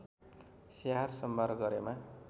स्याहार सम्भार गरेमा